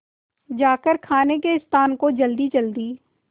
जाकर खाने के स्थान को जल्दीजल्दी